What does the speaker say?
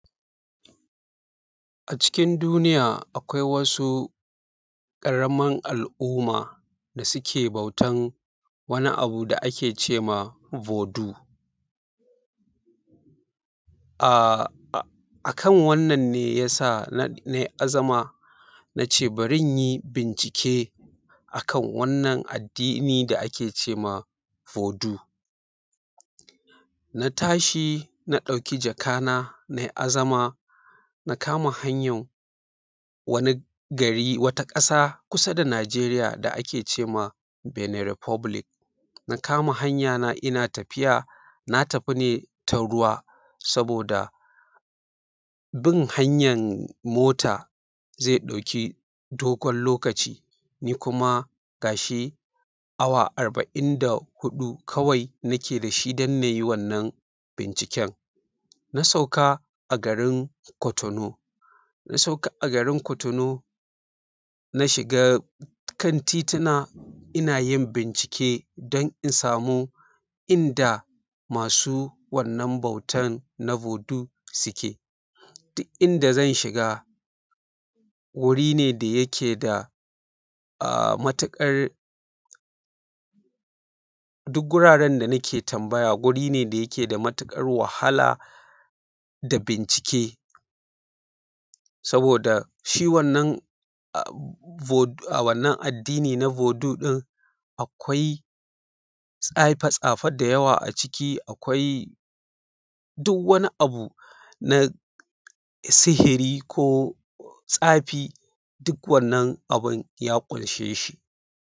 A cikin duniya akwai wasu ƙaramar al’umma da suke bautan wani abu da ake ce ma Voodoo, ah a kan wannan ne ya sa na yi azama, na ce bari in yi bincike a kan wannan addini da a ke ce ma Voodoo, na tashi na ɗauki jakana na yi azama, na kama hanya wani gari, wata ƙaasa kusa da Najeriya da a ke ce ma Benin Republic na kama hanyana ina tafiya, na tafi ne ta ruwa saboda bin hanyan mota zai ɗauki dogon lokaci, ni kuma ga shi awa arba'in da huɗu kawai nake da shi dun na yi wannan binciken na sauka a garin cotonou na sauka a garin cotonou na shiga kan tiitina ina yin bincike don in samu inda masu wannan bautan wannan Voodoo suke, duk inda zan shiga guri ne da yake da ah matuƙar duk guraren da nake tambaya guri ne da yake da matuƙar wahala da bincike, saboda shi wannan wannan addiini na Voodoo ɗin akwai tsaafe tsaafe da yawa a ciki, akwai duk wani abu na sihiri ko tsafi duk wannan abun ya ƙunshe shi.